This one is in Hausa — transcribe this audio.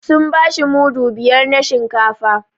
Sun bashi mudu biyar na shinkafa